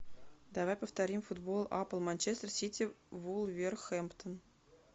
давай повторим футбол апл манчестер сити вулверхэмптон